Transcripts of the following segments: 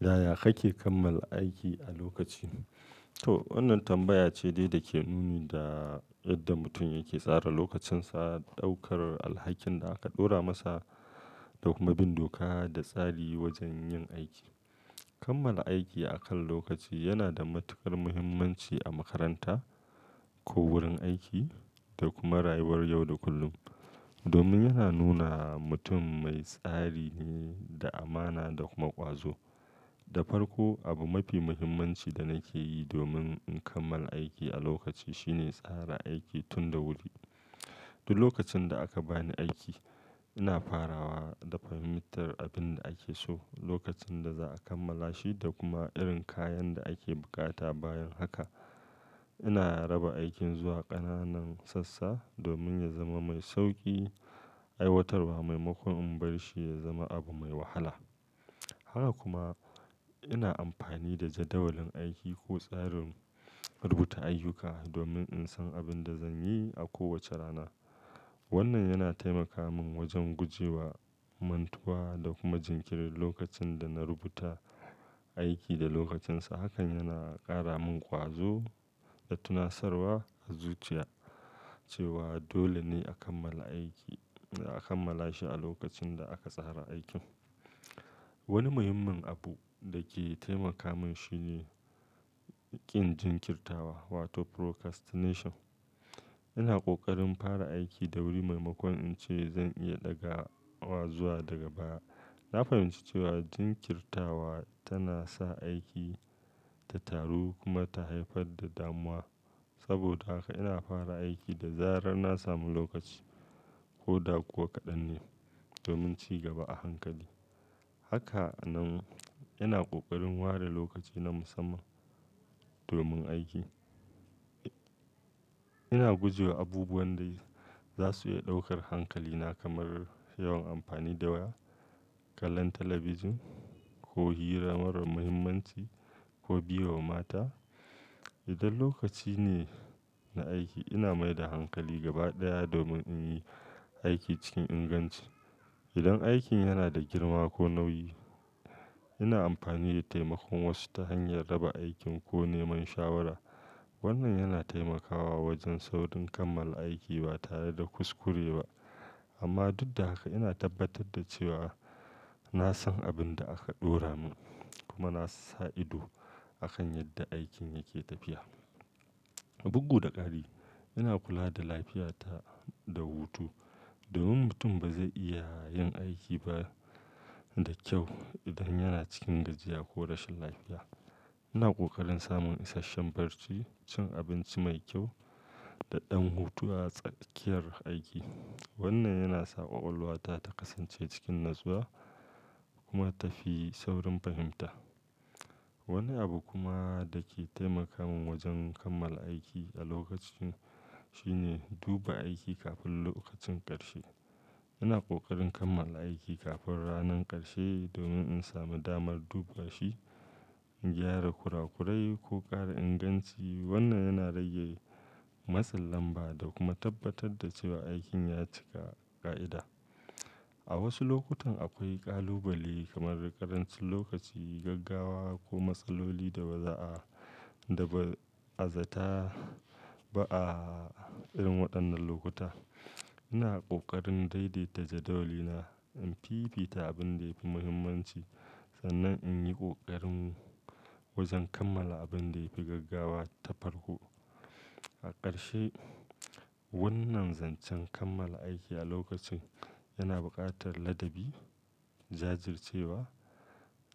Yaya kake kammala aiki a lokaci? To, wannan tambaya ce dai da ke nuni da yadda mutum yake tsara lokacinsa, ɗaukar alhakin da aka ɗora masa, da kuma bin doka da tsari wajen yin aiki. Kammala aiki a kan lokaci yana da matuƙar mahimmanci a makaranta, ko wurin aiki, da kuma rayuwar yau da kullum. Domin yana nuna mutum mai tsari ne, da amana da kuma ƙwazo. Da farko, abu mafi muhimmanci da nake yi domin in kammala aiki a lokaci shine tsara aiki tun da wuri. Duk lokacin da aka ba ni aiki, ina farawa da fahimtar abin da ake so, lokacin da za'a kammala shi da kuma irin kayan da ake buƙata bayan haka, ina raba aikin zuwa ƙananan sassa domin ya zama mai sauƙi aiwatarwa maimakon in bar shi ya zama abu mai wahala. Haka kuma, ina amfani da jadawalin aiki ko tsarin rubuta ayyuka, domin in san abin da zan yi a kowace rana. Wannan yana taimaka min wajen guje wa mantuwa, da kuma jinkiri lokacin da na rubuta aiki da lokacinsa. Hakan yana ƙara min ƙwazo, da tunasarwa a zuciya, cewa dole ne a kammala aiki-- a kammala shi a lokacin da aka tsara aikin. Wani muhimmin abu da ke taimaka min shine, ƙin jinkirtawa wato procrastination. Ina ƙoƙarin fara aiki da wuri maimakon in ce zan iya ɗaga wa zuwa daga baya. Na fahimci cewa jinkirtawa tana sa aiki ta taru kuma ta haifar da damuwa. Saboda haka ina fara aiki da zarar na samu lokaci, ko da kuwa kaɗan ne, domin ci gaba a hankali. Haka nan ina ƙoƙarin ware lokaci na musamman domin aiki. Ina guje wa abubuwan da za su iya ɗaukar hankalina, kamar yawan amfani da waya, kallon talabijin, ko hira marar muhimmanci, ko biye wa mata. Idan lokaci ne na aiki, ina mai da hankali gaba ɗaya domin in yi aiki cikin inganci. Idan aikin yana da girma ko nauyi, ina amfani da taimakon wasu ta hanyar raba aikin ko neman shawara. Wannan yana taimakawa wajen saurin kammala aiki ba tare da kuskure ba. Amma duk da haka ina tabbatar da cewa, na san abin da aka ɗora min, kuma na sa ido akan yadda aikin yake tafiya. Bugu da ƙari, ina kula da lafiyata da hutu, domin mutum ba zai iya yin aiki ba da kyau idan yana cikin gajiya ko rashin lafiya. Ina ƙoƙarin samun isasshen barci, cin abinci mai kyau da ɗan hutu a tsakiyar aiki. Wannan yana sa ƙwaƙwalwata ta kasance cikin natsuwa kuma tafi saurin fahimta. Wani abu kuma da ke taimaka min wajen kammala aiki a lokaci shine duba aiki kafin lokacin ƙarshe. Ina ƙoƙarin kammala aiki kafin ranan ƙarshe, domin in sami damar duba shi, gyara kurakurai ko ƙara inganci, Wannan yana rage matsin lamba da kuma tabbatar da cewa aikin ya cika ƙa'ida. A wasu lokutan akwai ƙalubale kamar ƙarancin lokaci, gaggawa ko matsaloli da ba za'a-- da ba'a zata ba a irin waɗannan lokuta. Ina ƙoƙarin daidaita jadawalina, in fifita abin da ya fi muhimmanci, sannan in yi ƙoƙarin wajen kammala abin da ya fi gaggawa ta farko. A ƙarshe, wannan zancen kammala aiki a lokacin, yana buƙatar ladabi, jajircewa,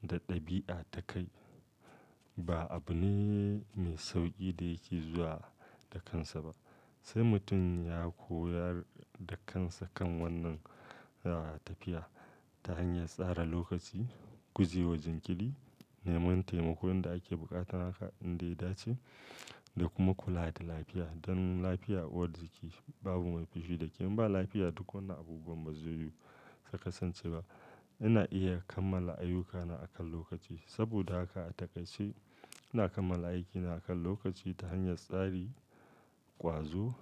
da ɗabi'a ta kai. Ba abu ne mai sauƙi da yake zuwa da kansa ba, sai mutum ya koyar da kansa kan wannan, ah, tafiya, ta hanyar tsara lokaci, guje wa jinkiri, neman taimakon da ake buƙata haka in da ya dace, da kuma kula da lafiya. Dan lafiya uwar jiki, babu mai fushi da ke. In ba lafiya duk wannan abubuwan ba zai yiwu su kasance ba. Ina iya kammala ayyukana a kan lokaci, saboda haka a taƙaice, ina kammala aikina a kan lokaci ta hanyar tsari, ƙwazo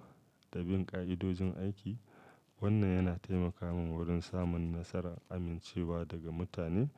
da bin ƙa'idojin aiki. Wannan yana taimaka min wurin samun nasara, amincewa daga mutane.